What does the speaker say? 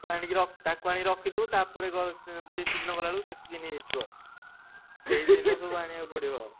ତାକୁ ଆଣି ର~ ତାକୁ ଆଣି ରଖିଥିବୁ ତାପରେ ଗଲେ ସେ feast ଦିନ ଗଲା ବେଳକୁ ତାକୁ କିଏ ନେଇଯାଇଥିବ। ସେଇଦିନ ସବୁ ଆଣିଆକୁ ପଡିବ।